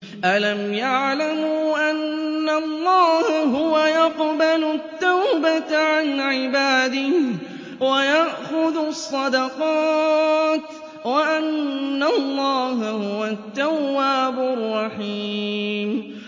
أَلَمْ يَعْلَمُوا أَنَّ اللَّهَ هُوَ يَقْبَلُ التَّوْبَةَ عَنْ عِبَادِهِ وَيَأْخُذُ الصَّدَقَاتِ وَأَنَّ اللَّهَ هُوَ التَّوَّابُ الرَّحِيمُ